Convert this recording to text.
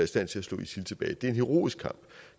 stand til at slå isil tilbage det er en heroisk kamp